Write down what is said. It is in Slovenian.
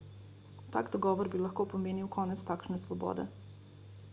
tak dogovor bi lahko pomenil konec takšne svobode